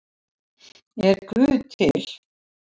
Er guð til